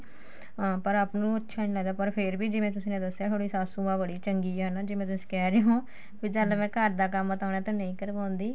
ਪਰ ਆਪ ਨੂੰ ਅੱਛਾ ਨੀ ਲੱਗਦਾ ਪਰ ਫੇਰ ਵੀ ਜਿਵੇਂ ਤੁਸੀਂ ਨੇ ਦੱਸਿਆ ਤੁਹਾਡੀ ਸਾਸੁਮਾਂ ਬੜੀ ਚੰਗੀ ਏ ਨਾ ਜਿਵੇਂ ਤੁਸੀ ਕਹਿ ਰਹੇ ਓ ਫੇਰ ਤਾਂ ਮੈਂ ਘਰ ਦਾ ਕੰਮ ਉਹਨਾ ਤੋਂ ਨਹੀਂ ਕਰਵਾਉਂਦੀ